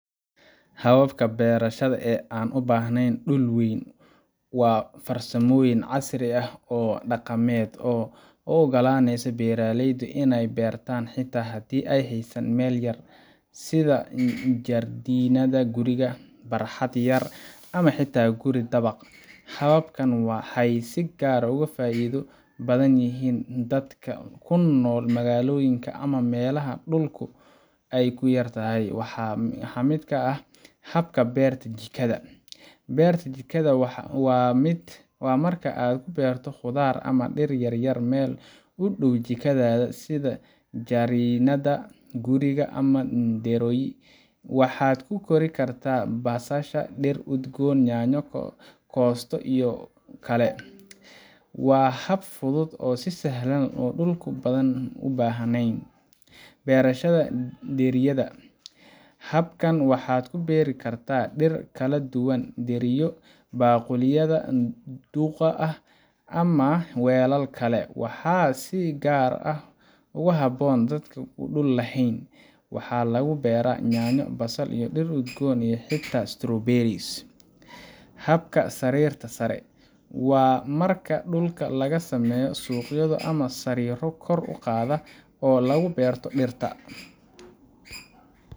Hababka beerashada ee aan u baahnayn dhul weyn waa farsamooyin casri ah ama dhaqameed oo u oggolaanaya beeraleyda inay wax beertaan xitaa haddii ay haystaan meel yar sida jardiinada guriga, barxad yar, ama xitaa guri dabaq ah. Hababkan waxay si gaar ah ugu faa'iido badan yihiin dadka ku nool magaalooyinka ama meelaha dhulku ku yar yahay. Waxaa ka mid ah hababkan: Habka beerta jikada Beerta jikada waa marka aad ku beerto khudaar ama dhir yar yar meel u dhow jikadaada sida jardiinada guriga ama dheriyo. Waxaad ku kori kartaa basasha, dhir udgoon, yaanyo, koosto, iyo kale. Waa hab fudud, sahlan, oo aan dhul badan u baahnayn. Beerashada dheriyada Habkan waxaad ku beeri kartaa dhir kala duwan dheriyo, baaquliyada duugga ah, ama weelal kale. Waxaa si gaar ah ugu habboon dadka aan dhul lahayn. Waxaa lagu beeraa yaanyo, basal, dhir udgoon, iyo xitaa strawberries. Habka sariirta sare Waa marka dhulka laga sameeyo sanduuqyo ama sariiro kor u qaadan oo lagu beerto dhirta